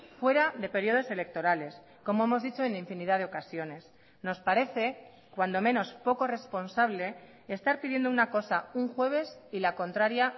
fuera de períodos electorales como hemos dicho en infinidad de ocasiones nos parece cuando menos poco responsable estar pidiendo una cosa un jueves y la contraria